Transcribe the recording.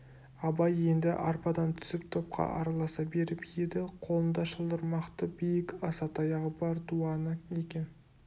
абай енді арбадан түсіп топқа араласа беріп еді қолында шылдырмақты биік аса таяғы бар дуана екен